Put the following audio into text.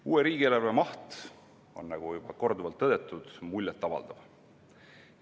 Uue riigieelarve maht on, nagu juba korduvalt tõdetud, muljet avaldav.